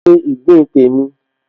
Máa se ìgbín tèmi